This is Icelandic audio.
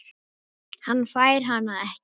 Hann fær hana ekki.